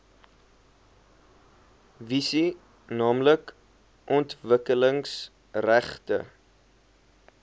visie naamlik ontwikkelingsgerigte